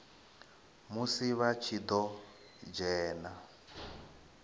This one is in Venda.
musi vha tshi ḓo dzhena